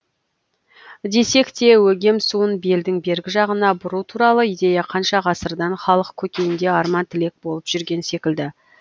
десек те өгем суын белдің бергі жағына бұру туралы идея қанша ғасырдан халық көкейінде арман тілек болып жүрген секілді